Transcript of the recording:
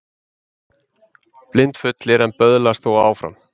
Blindfullir en böðlast þó áfram